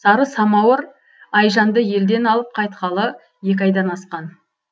сары самауыр айжанды елден алып қайтқалы екі айдан асқан